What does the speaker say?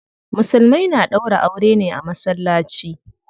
Musulmai na ɗaura aure ne a masallaci.